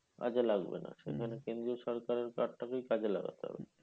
কাজে লাগবে না। সেখানে কেন্দ্রীয় সরকারের card টা কেই কাজে লাগাতে হবে।